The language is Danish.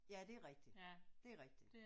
Ja det er rigtigt det er rigtigt